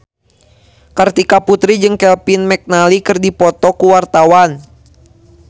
Kartika Putri jeung Kevin McNally keur dipoto ku wartawan